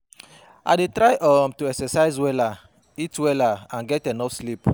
I dey try um to exercise wella, eat wella and get enough sleep.